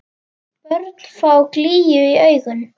Börn fá glýju í augun.